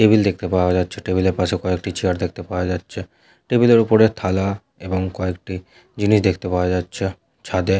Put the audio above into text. table দেখতে পাওয়া যাচ্ছে টেবিলের পাশে কয়েকটি চেয়ার দেখতে পাওয়া যাচ্ছে টেবিলের ওপরে থালা এবং কয়েকটি জিনিস দেখতে পাওয়া যাচ্ছে ছাদে--